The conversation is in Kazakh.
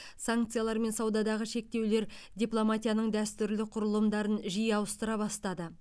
санкциялар мен саудадағы шектеулер дипломатияның дәстүрлі құрылымдарын жиі алмастыра бастады